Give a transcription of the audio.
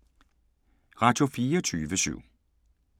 Radio24syv